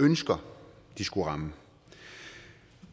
ønsker de skulle ramme